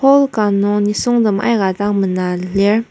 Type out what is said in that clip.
hall ka nung nisungtem aika dang mena lir.